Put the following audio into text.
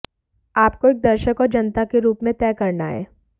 आप को एक दर्शक और जनता के रूप में तय करना है